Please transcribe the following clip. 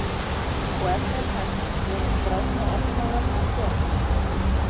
Og ef það er hægt, voru skrárnar opnaðar og hvenær?